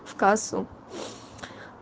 в кассу